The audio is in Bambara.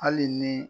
Hali ni